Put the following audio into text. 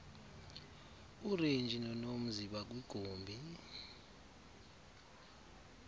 urenji nonomzi bakwigumbi